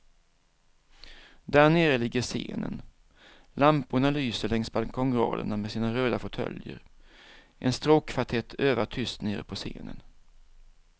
Där nere ligger scenen, lamporna lyser längs balkongraderna med sina röda fåtöljer, en stråkkvartett övar tyst nere på scenen.